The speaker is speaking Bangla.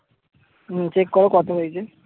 হম check করো কত হয়েছে